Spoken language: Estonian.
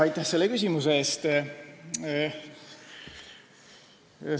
Aitäh selle küsimuse eest!